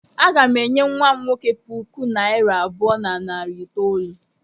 Aga m enye nwa m nwoke puku naịra abụọ na narị itoolu.